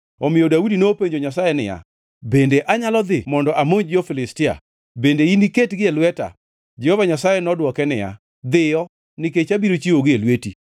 omiyo Daudi nopenjo Nyasaye niya, “Bende anyalo dhi mondo amonj jo-Filistia? Bende iniketgi e lweta?” Jehova Nyasaye nodwoke niya, “Dhiyo, nikech abiro chiwogi e lweti.”